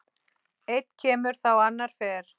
Einn kemur þá annar fer.